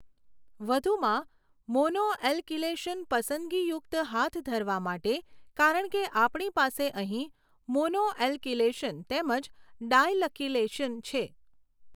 વધુમાં મોનોએલકિલેશન પસંદગીયુક્ત હાથ ધરવા માટે કારણ કે આપણી પાસે અહીં મોનોએલકિલેશન તેમજ ડાયલકિલેશન છે.